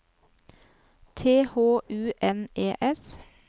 T H U N E S